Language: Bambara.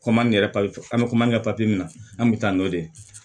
Kɔma ni yɛrɛ an bɛ koman kɛ papiye min na an kun bɛ taa n'o de ye